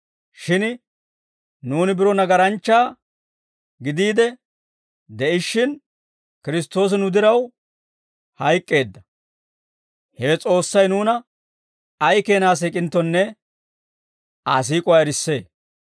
Shin nuuni biro nagaranchcha gidiide de'ishshin, Kiristtoosi nu diraw hayk'k'eedda; hewe S'oossay nuuna ay keenaa siik'inttonne Aa siik'uwaa erissee.